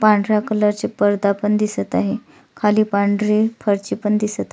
पांढऱ्या कलरचा पडदा पण दिसत आहे खाली पांढरी फरची पण दिसत --